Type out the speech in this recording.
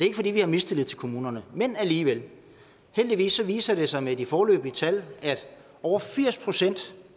ikke fordi vi har mistillid til kommunerne men alligevel heldigvis viser det sig med de foreløbige tal at over firs procent